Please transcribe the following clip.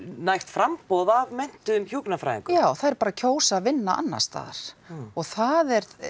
nægt framboð af menntuðum hjúkrunarfræðingum já þær bara kjósa að vinna annars staðar og það er